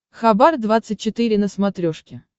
хабар двадцать четыре на смотрешке